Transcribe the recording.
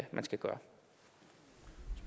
man skal gøre